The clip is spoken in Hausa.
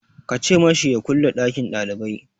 Ka ce ma shi ya kulle ɗakin ɗalibai!